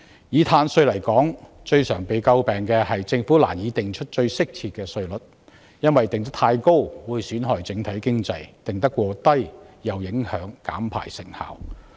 以碳稅來說，最常為人詬病的是政府難以釐定最適切的稅率，因為稅率過高會損害整體經濟，過低又會影響減排成效。